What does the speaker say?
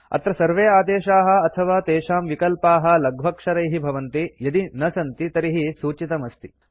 अत्र सर्वे आदेशाः अथवा तेषां विकल्पाः लघ्वक्षरैः भवन्ति यदि न सन्ति तर्हि सूचितम् अस्ति